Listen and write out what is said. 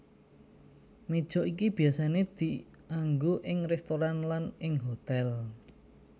Meja iki biyasané dianggo ing restoran lan ing hotèl